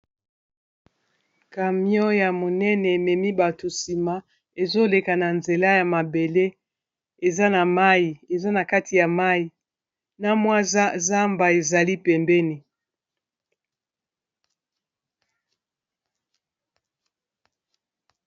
Camion ya monene ememi bato nsima ezoleka na nzela ya mabele eza n'a mayi eza na kati ya mayi na mwa zamba ezali pembeni.